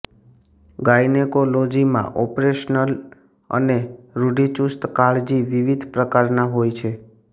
gynaecology માં operational અને રૂઢિચુસ્ત કાળજી વિવિધ પ્રકારના હોય છે